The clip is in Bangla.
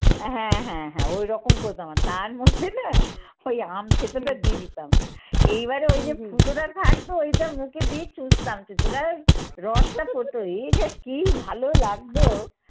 হ্যাঁ হ্যাঁ ওইরকম করতাম। তার মধ্যে না ঐ আম থেঁতোটা দিয়ে দিতাম। এইবারে ঐ যে ফুটোটা থাকতো ঐটা মুখে দিয়ে চুষতাম রসটা পড়তো, এই যে কি ভালো লাগতো